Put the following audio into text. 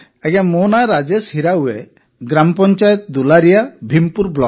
ମୋ ନାଁ ରାଜେଶ ହିରାୱେ ଗ୍ରାମପଞ୍ଚାୟତଦୁଲାରିଆ ଭୀମପୁର ବ୍ଲକ